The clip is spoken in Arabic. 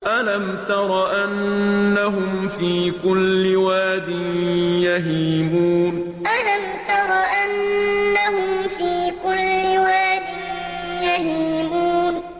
أَلَمْ تَرَ أَنَّهُمْ فِي كُلِّ وَادٍ يَهِيمُونَ أَلَمْ تَرَ أَنَّهُمْ فِي كُلِّ وَادٍ يَهِيمُونَ